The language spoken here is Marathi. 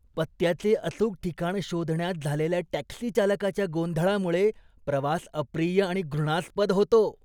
पत्त्याचे अचूक ठिकाण शोधण्यात झालेल्या टॅक्सी चालकाच्या गोंधळामुळे प्रवास अप्रिय आणि घृणास्पद होतो.